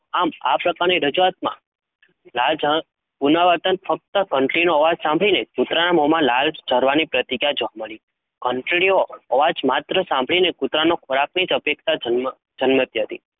આમ આ પ્રકારની રજુઆતમાં લાળ જરણ પુનરાવર્તન ફક્ત ઘંટડીનો અવાજ સાંભળીને જ કુતરાના મોમાં લાળ જરવાની પ્રતિક્રિયા જોવા મળી. ઘંટડીનો અવાજ માત્ર સાંભળીને કુતરાનો ખોરાકની જ અપેક્ષા જન્મ જન્મતી હતી.